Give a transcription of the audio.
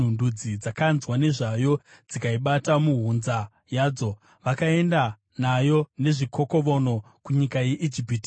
Ndudzi dzakanzwa nezvayo, dzikaibata muhunza yadzo. Vakaenda nayo nezvikokovono kunyika yeIjipiti.